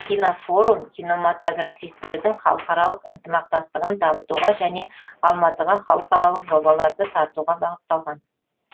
кинофорум кинематографистердің халықаралық ынтымақтастығын дамытуға және алматыға халықаралық жобаларды тартуға бағытталған